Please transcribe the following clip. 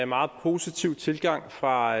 meget positiv tilgang fra